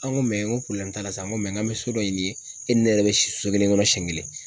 An ko n ko t'a la sa, n ko an bɛ so dɔ ɲini e ni ne yɛrɛ bɛ si so kelen kɔnɔ siɲɛ kelen.